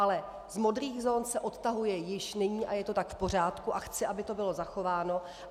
Ale z modrých zón se odtahuje již nyní a je to tak v pořádku a chci, aby to bylo zachováno.